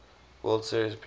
world series appearance